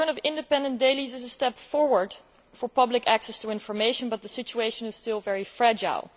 The return of independent dailies is a step forward for public access to information, but the situation is still very fragile.